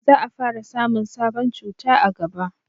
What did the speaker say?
za a fara samun sabon cuta a gaba